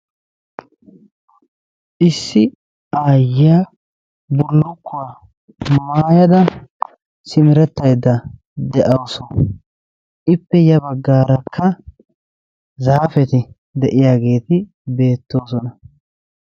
Issi aayiya bullukkuwa maayada simerettayda de'awusu, ippe ya baggaarakka zaafeti de'iyageeti beettoosona.